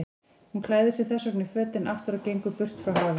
Hún klæðir sig þessvegna í fötin aftur og gengur burt frá hafinu.